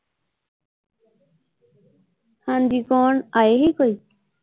ਹਾਂਜੀ ਕੋਣ ਆਏ ਸੀ ਕੋਈ?